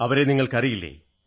അവരെ നിങ്ങൾക്കറിയില്ലേ